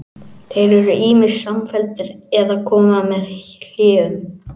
Þeir eru ýmist samfelldir eða koma með hléum.